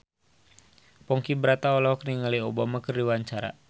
Ponky Brata olohok ningali Obama keur diwawancara